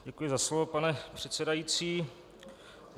Děkuji za slovo, pane předsedající.